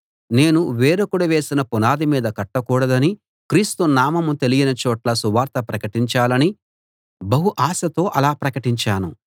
నేను వేరొకడు వేసిన పునాది మీద కట్టకూడదని క్రీస్తు నామం తెలియని చోట్ల సువార్త ప్రకటించాలని బహు ఆశతో అలా ప్రకటించాను